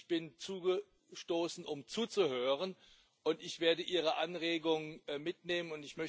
Ich bin dazugestoßen, um zuzuhören, und ich werde Ihre Anregung mitnehmen.